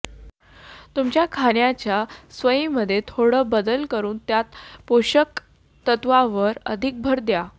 तुमच्या खाण्याच्या सवयींमध्ये थोडा बदल करून त्यात पोषक तत्वांवर अधिक भर द्या